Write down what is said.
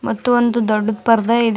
ಮತ್ತು ಒಂದು ದೊಡ್ಡು ಪರ್ದೆ ಇದೆ.